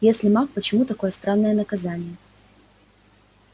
если маг почему такое странное наказание